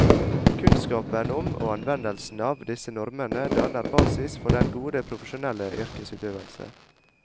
Kunnskapen om, og anvendelsen av, disse normene danner basis for den gode profesjonelle yrkesutøvelse.